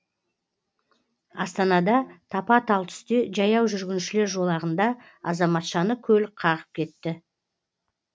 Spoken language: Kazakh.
астанада тапа талтүсте жаяу жүргіншілер жолағында азаматшаны көлік қағып кетті